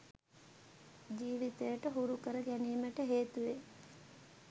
ජීවිතයට හුරු කර ගැනීමට හේතුවේ.